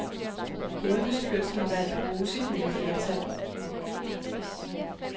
Hovedbestyrelsen har valgt at bruge sit nye flertal.